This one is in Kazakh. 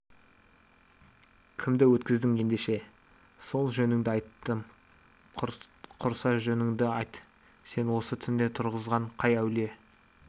кімді өткіздің ендеше сол жөніңді айттым құрса жөніңді айт сені осы түнде тұрғызған қай әулие